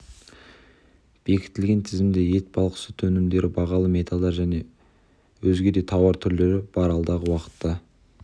бекітілген тізімде ет балық сүт өнімдері бағалы металдар мен өзге де тауар түрлері бар алдағы уақытта